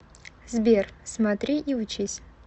сбер смотри и учись